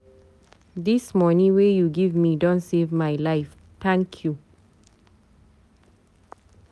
Dis moni wey you give me don save my life, thank you.